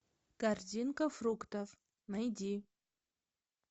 корзинка фруктов найди